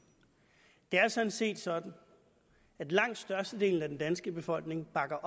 jeg er sådan set sådan at langt størstedelen af den danske befolkning bakker